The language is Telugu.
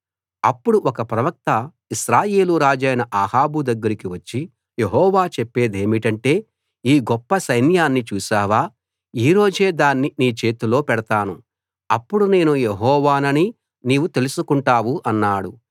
అప్పుడు ఒక ప్రవక్త ఇశ్రాయేలు రాజైన అహాబు దగ్గరికి వచ్చి యెహోవా చెప్పేదేమిటంటే ఈ గొప్ప సైన్యాన్ని చూశావా ఈ రోజే దాన్ని నీ చేతిలో పెడతాను అప్పుడు నేను యెహోవానని నీవు తెలుసుకుంటావు అన్నాడు